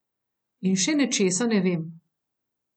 In še nečesa ne vem.